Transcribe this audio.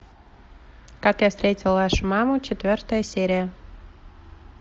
как я встретил вашу маму четвертая серия